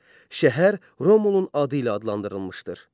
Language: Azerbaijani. Şəhər Romulun adı ilə adlandırılmışdır.